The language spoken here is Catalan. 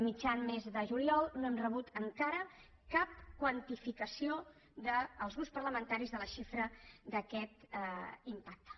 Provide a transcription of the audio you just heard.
mitjan mes de juliol no hem rebut encara cap quantificació els grups parlamentaris de la xifra d’aquest impacte